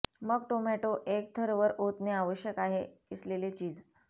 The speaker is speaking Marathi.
मग टोमॅटो एक थर वर ओतणे आवश्यक आहे किसलेले चीज